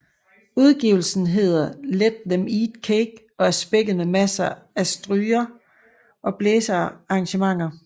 Udgivelsen Hedder Let Them Eat Cake og er spækket med masser af stryger og blæsearrangementer